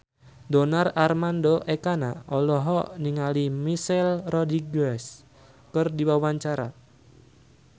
Donar Armando Ekana olohok ningali Michelle Rodriguez keur diwawancara